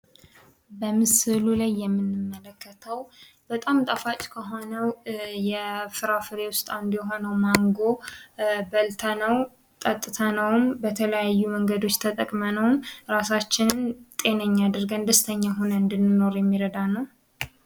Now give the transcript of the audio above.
በምስሉ የምንመለከተው በጣም ጣፋጭ ከሆነው የፍራፍሬ ውስጥ አንዱ የሆነው ማንጎ በልተንውም ጠጥተንውም በተለያየ መንገድ ተጠቅመነውም እራሳችንን ጤነኛ አድርገን ደስተኛ ሁነን እንድንኖር የሚረዳን ነው።